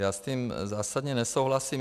Já s tím zásadně nesouhlasím.